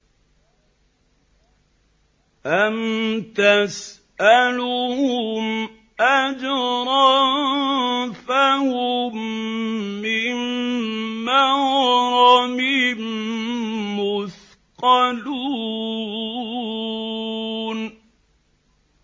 أَمْ تَسْأَلُهُمْ أَجْرًا فَهُم مِّن مَّغْرَمٍ مُّثْقَلُونَ